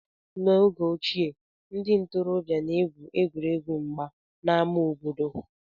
N'oge ochie, ndị ntorobịa na-egwu egwuregwu mgba n'ámá obodo